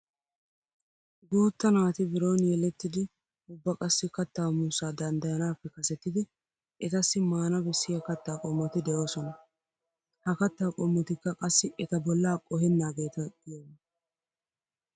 Guutta naati biron yelettidi ubba kattaa muussaa danddayanaappe kasetidi etassi maana bessiya katta qommoti de'oosona. Ha katta qommotikka qassi eta bollaa qohennaageeta giyogaa.